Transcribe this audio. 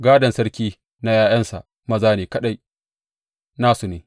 Gādon sarki na ’ya’yansa maza ne kaɗai; na su ne.